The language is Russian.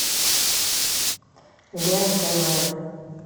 лен тв